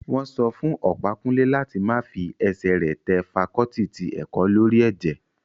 Wọ́n sọ fún Ọ̀pákúnlé láti má fi ẹsẹ̀ rẹ̀ tẹ fakọọti ti ẹ̀kọ́ lórí ẹ̀jẹ̀